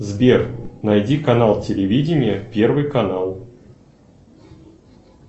сбер найди канал телевидения первый канал